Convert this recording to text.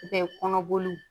kɔnɔboli